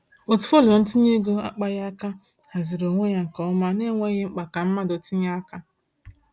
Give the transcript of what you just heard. Pọtụfoliyo ntinye ego akpaghị aka haziri onwe ya nke ọma n’enweghị mkpa ka mmadụ tinye aka.